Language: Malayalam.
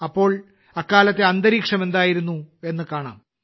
അപ്പോൾ അക്കാലത്തെ അന്തരീക്ഷം എന്തായിരുന്നു എന്ന് കാണാം